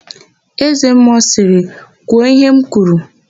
Ézēmmụọ sịrị, "kwuo íhé m kwuru"!